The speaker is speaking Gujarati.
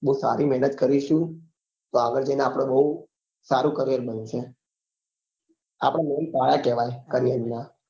બઉ સારી મહેનત કરીશું તો આગળ જઈ ને આપડે બઉ સારું career બનશે આપડે main પાયા કેવાય career નાં